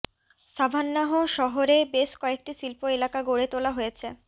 Savannah শহরে বেশ কয়েকটি শিল্প এলাকা গড়ে তোলা হয়েছে